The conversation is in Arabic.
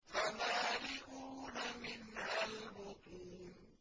فَمَالِئُونَ مِنْهَا الْبُطُونَ